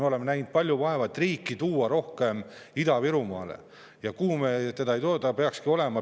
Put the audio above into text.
Me oleme näinud palju vaeva, et riiki Ida-Virumaale rohkem tuua, aga me ei too.